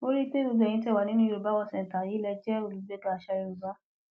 mo rí i pé gbogbo ẹyin tẹ ẹ wà nínú yorùbá world centre yìí lè jẹ olùgbéga àṣà yorùbá